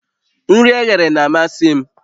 Nri eghere na-amasị m